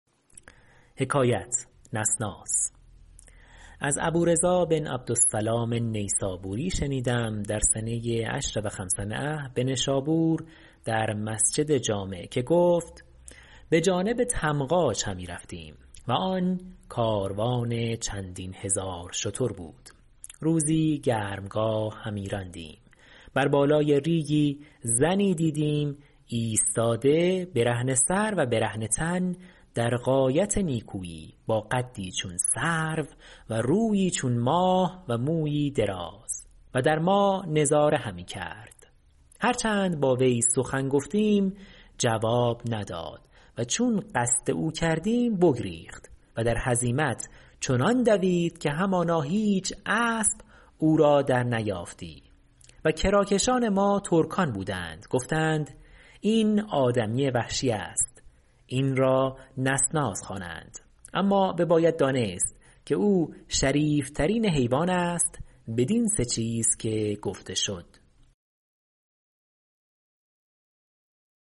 از ابو رضا بن عبد السلام النیسابوری شنیدم در سنه عشر و خمسمأة بنشابور در مسجد جامع که گفت به جانب طمغاج همی رفتیم و آن کاروان چندین هزار شتر بود روزی گرمگاه همی راندیم بر بالای ریگی زنی دیدیم ایستاده برهنه سر و برهنه تن در غایت نکویی باقدی چون سرو و رویی چون ماه و مویی دراز و در ما نظاره همی کرد هر چند با وی سخن گفتیم جواب نداد و چون قصد او کردیم بگریخت و در هزیمت چنان دوید که همانا هیچ اسب او را در نیافتی و کراکشان ما ترکان بودند گفتند این آدمی وحشی است این را نسناس خوانند اما بباید دانست که او شریف ترین حیوان است بدین سه چیز که گفته شد